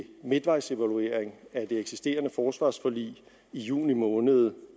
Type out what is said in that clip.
midtvejsevaluering af det eksisterende forsvarsforlig i juni måned